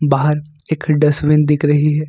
बाहर एक डस्टबिन दिख रही है।